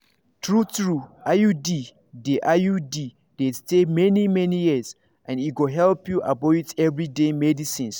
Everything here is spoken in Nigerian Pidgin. true- true iud dey iud dey stay many-many years and e go help you avoid everyday medicines.